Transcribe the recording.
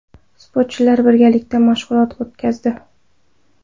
Sportchilar birgalikda mashg‘ulot o‘tkazdi.